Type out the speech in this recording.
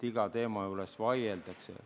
Iga teema juures vaieldakse.